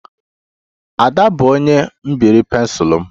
Ada bụ onye mebiri pensụl m